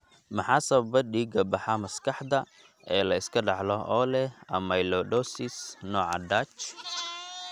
Maxaa sababa dhiig-baxa maskaxda ee la iska dhaxlo oo leh amyloidosis nooca Dutch?